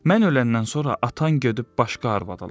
Mən öləndən sonra atan gedib başqa arvad alacaq.